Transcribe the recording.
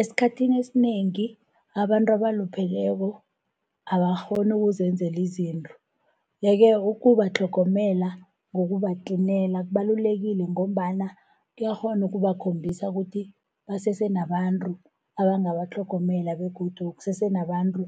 Esikhathini esinengi abantu abalupheleko abakghoni ukuzenzela izinto. Yeke, ukubatlhogomela ngokubatlinela kubalulekile, ngombana kuyakghona ukubakhombisa ukuthi basese nabantu abangabatlhogomela, begodu kusese nabantu